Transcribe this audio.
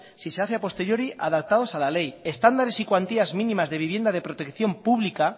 si se hace a posteriori adaptados a la ley estándares y cuantías mínimas de vivienda de protección pública